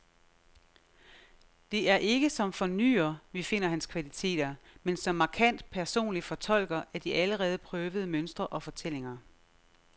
Det er ikke som fornyer, vi finder hans kvaliteter, men som markant personlig fortolker af de allerede prøvede mønstre og fortællinger.